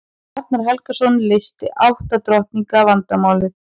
arnar helgason leysti átta drottninga vandamálið